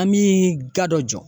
An mi ga dɔ jɔ